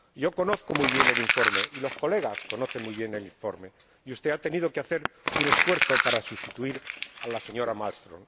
Yo conozco muy bien el informe, y los colegas conocen muy bien el informe, y usted ha tenido que hacer un esfuerzo para sustituir a la señora Malmström.